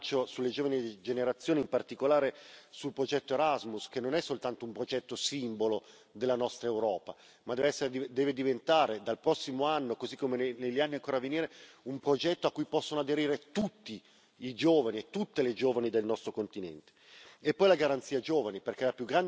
Un grande impegno nel nostro bilancio è sulle giovani generazioni, in particolare sul progetto Erasmus, che non è soltanto un progetto simbolo della nostra Europa ma deve diventare, dal prossimo anno così come negli anni ancora a venire, un progetto a cui possano aderire tutti i giovani e tutte le giovani del nostro continente.